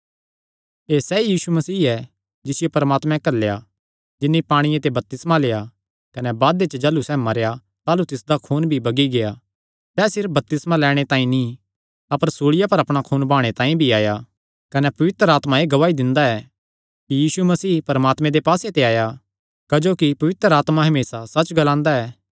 एह़ सैई यीशु मसीह ऐ जिसियो परमात्मैं घल्लेया जिन्नी पांणिये ते बपतिस्मा लेआ कने बादे च जाह़लू सैह़ मरेया ताह़लू तिसदा खून भी बगी गेआ सैह़ सिर्फ बपतिस्मा लैणे तांई नीं अपर सूल़िया पर अपणा खून बहाणे तांई भी आया कने पवित्र आत्मा एह़ गवाही दिंदा ऐ कि यीशु मसीह परमात्मे दे पास्से ते आया क्जोकि पवित्र आत्मा हमेसा सच्च ग्लांदा ऐ